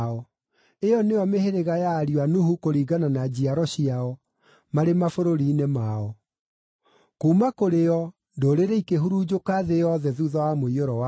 Ĩyo nĩyo mĩhĩrĩga ya ariũ a Nuhu kũringana na njiaro ciao, marĩ mabũrũri-inĩ mao. Kuuma kũrĩ o, ndũrĩrĩ ikĩhurunjũka thĩ yothe thuutha wa mũiyũro wa maaĩ.